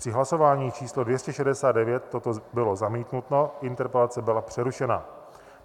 Při hlasování číslo 269 toto bylo zamítnuto, interpelace byla přerušena.